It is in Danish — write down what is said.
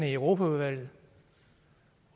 i europaudvalget